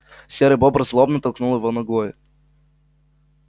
серый бобр злобно толкнул его ногой